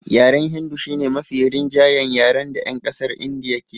Yaren hindu shi ne mafi rinjayen yaren da 'yan ƙasar Indiya ke yi